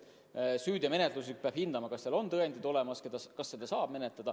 Süüteomenetluses peab hindama, kas omanikul on vajalikud tõendid olemas ja kas seda juhtumit saab menetleda.